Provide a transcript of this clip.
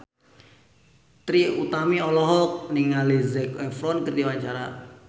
Trie Utami olohok ningali Zac Efron keur diwawancara